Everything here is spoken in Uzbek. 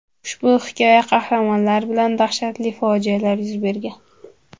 Ushbu hikoya qahramonlari bilan dahshatli fojialar yuz bergan.